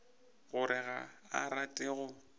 gore ga a rate go